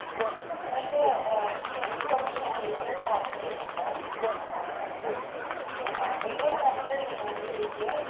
എന്നിട്ട് Teaching profession ലേക്ക് താല്പര്യമുള്ള ആൾക്കാർക്ക് അഹ്